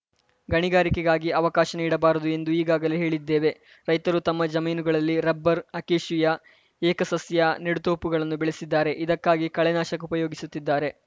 ಗಣಿಗಾರಿಕೆಗಾಗಿ ಅವಕಾಶ ನೀಡಬಾರದು ಎಂದು ಈಗಾಗಲೆ ಹೇಳಿದ್ದೇವೆ ರೈತರು ತಮ್ಮ ಜಮೀನುಗಳಲ್ಲಿ ರಬ್ಬರ್‌ ಅಕೇಶಿಯಾ ಏಕಸಸ್ಯ ನೆಡುತೊಪುಗಳನ್ನು ಬೆಳೆಸಿದ್ದಾರೆ ಇದಕ್ಕಾಗಿ ಕಳೆ ನಾಶಕ ಉಪಯೋಗಿಸುತ್ತಿದ್ದಾರೆ